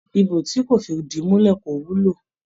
Ibo tí kò fìdìmulẹ́ kó wúlò.